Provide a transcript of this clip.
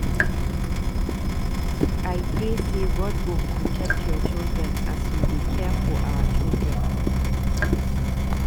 I pray sey God go protect your children as you dey care for our children.